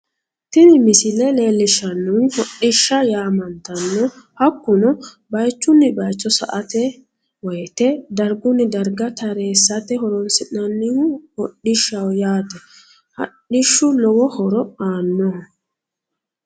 tini missile leellishshannohu hodhishsha yaamantanno hakkuno bayichunni bayicho sa"ate woyite dargunni darga taraaeate horonsi'nannihu hodhishshaho yaate hadhishshu lowo horo aanno